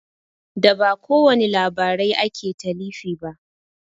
Da ba kowani labarai ake talifi ba